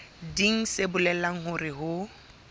leng se bolelang hore ho